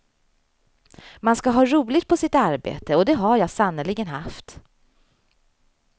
Man skall ha roligt på sitt arbete och det har jag sannerligen haft.